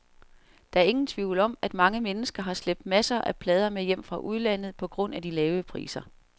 Der er ingen tvivl om, at mange mennesker har slæbt masser af plader med hjem fra udlandet på grund af de lave priser.